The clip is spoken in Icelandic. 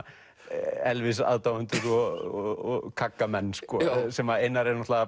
Elvis aðdáendur og kaggamenn sko sem Einar er